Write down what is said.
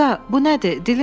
Qaqa, bu nədir?